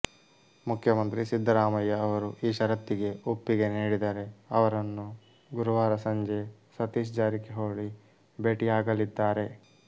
ಮುಖ್ಯಮಂತ್ರಿ ಸಿದ್ದರಾಮಯ್ಯ ಅವರು ಈ ಷರತ್ತಿಗೆ ಒಪ್ಪಿಗೆ ನೀಡಿದರೆ ಅವರನ್ನು ಗುರುವಾರ ಸಂಜೆ ಸತೀಶ್ ಜಾರಕಿಹೊಳಿ ಭೇಟಿಯಾಗಲಿದ್ದಾರೆ